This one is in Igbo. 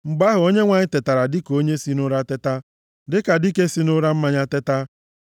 Mgbe ahụ, onyenwe anyị tetara dịka onye si nʼụra teta, dịka dike si nʼụra mmanya teta.